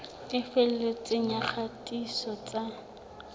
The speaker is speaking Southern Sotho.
e felletseng ya kgatiso tsa